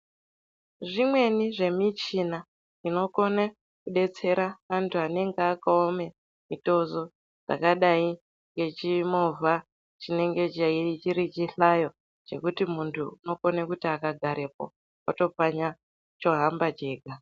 Zvimweni zvemichina zvinokone kudetsera antu anenge akaome mutezo dzakadai ngechimovha chinenge chei chiri chihlayo chekuti muntu unokone kuti akagarepo otopfanya chohamba chega.